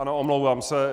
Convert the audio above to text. Ano, omlouvám se.